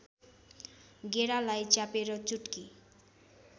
गेडालाई च्यापेर चुट्की